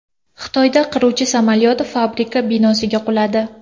Xitoyda qiruvchi samolyot fabrika binosiga quladi.